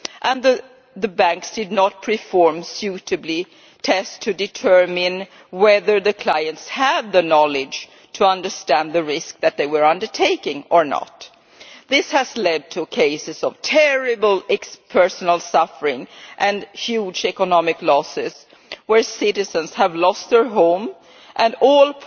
nor did the banks perform suitably tests to determine whether clients had the knowledge to understand the risk that they were undertaking. This has led to cases of terrible personal suffering and huge economic losses, where citizens have lost their home and all